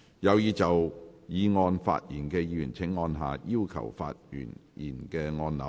有意就議案發言的議員請按下"要求發言"按鈕。